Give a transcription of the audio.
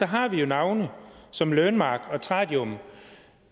har vi jo navne som learnmark og tradium